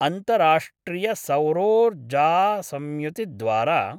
अन्तराष्ट्रियसौरोर्जासंयुतिद्वारा